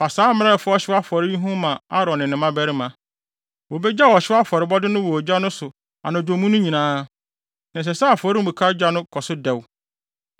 “Fa saa mmara a ɛfa ɔhyew afɔre ho yi ma Aaron ne ne mmabarima. ‘Wobegyaw ɔhyew afɔrebɔde no wɔ ogya no so anadwo mu no nyinaa, na ɛsɛ sɛ afɔremuka gya no kɔ so dɛw.